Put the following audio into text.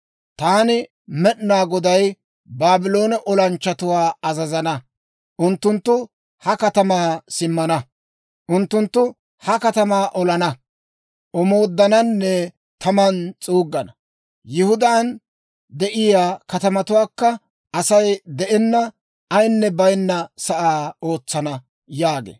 Taani Med'inaa Goday Baabloone olanchchatuwaa azazana; unttunttu ha katamaa simmana. Unttunttu ha katamaa olana, omooddananne taman s'uuggana. Yihudaan de'iyaa katamatuwaakka Asay de'enna ayinne baynna sa'aa ootsana» yaagee.